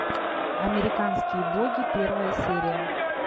американские боги первая серия